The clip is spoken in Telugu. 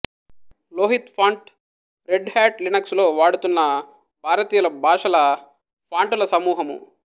లోహిత్ ఫాంటు రెడ్ హ్యాట్ లినక్సులో వాడుతున్న భారతీయ భాషల ఫాంటుల సమూహము